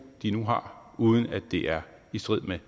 de nu har uden at det er i strid